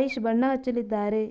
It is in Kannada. ಐಶ್ ಬಣ್ಣ ಹಚ್ಚಲಿದ್ದಾರೆ